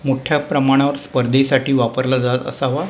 मोठ्या प्रमाणावर स्पर्धेसाठी वापरला जात असावा.